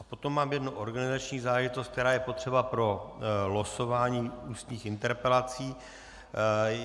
A potom mám jednu organizační záležitost, která je potřeba pro losování ústních interpelací.